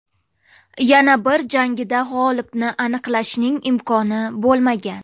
Yana bir jangida g‘olibni aniqlashning imkoni bo‘lmagan.